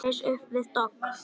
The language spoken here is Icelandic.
Reis upp við dogg.